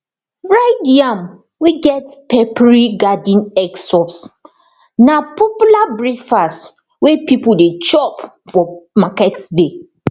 fried yam wey get peppery garden egg sauce na popular breakfast wey people dey chop for market day